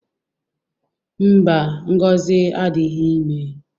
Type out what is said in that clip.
Mba, Ngozi adịghị ime.